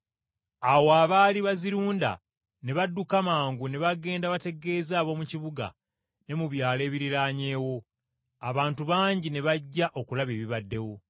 Awo abaali bazirunda ne badduka mangu ne bagenda bategeeze ab’omu kibuga ne mu byalo ebiriraanyeewo. Abantu bangi ne bajja okulaba ebibaddewo.